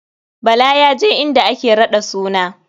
Bala ya je inda ake raɗa suna.